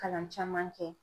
Kalan caman kɛ.